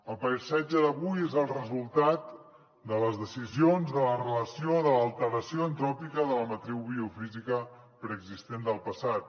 el paisatge d’avui és el resultat de les decisions de la relació de l’alteració antròpica de la matriu biofísica preexistent del passat